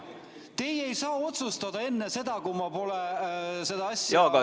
Teie ei saa otsustada enne seda, kui ma pole seda asja ...